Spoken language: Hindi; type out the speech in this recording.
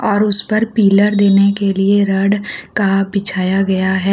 और उस पर पिलर देने के लिए रड का बिछाया गया है।